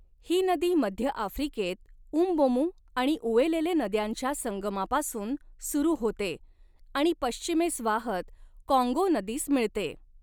ही नदी मध्य आफ्रिकेत म्बोमू आणि उएलेले नद्यांच्या संगमापासून सुरू होते आणि पश्चिमेस वाहत काँगो नदीस मिळते.